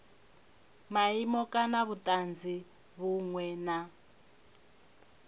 maimo kana vhutanzi vhunwe na